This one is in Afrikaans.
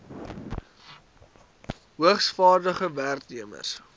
hoogs vaardige werknemers